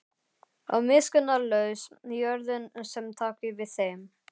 Og miskunnarlaus jörðin sem taki við þeim.